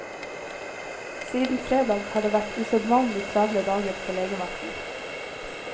Siden fredag har det vært usedvanlig travle dager på legevakten.